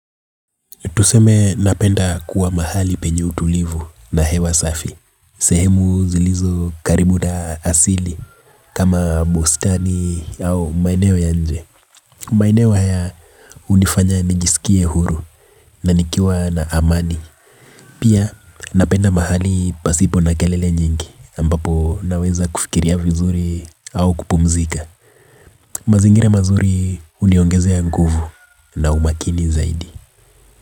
Tuseme napenda kuwa mahali penye utulivu na hewa safi. Sehemu zilizu karibu na asili kama bustani au maeneo ya nje. Maeneo haya hunifanya nijisikie huru na nikiwa na amani. Pia napenda mahali pasipo na kelele nyingi ambapo naweza kufikiria vizuri au kupumzika. Mazingira mazuri huniongezea nguvu na umakini zaidi.